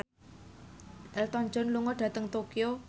Elton John lunga dhateng Tokyo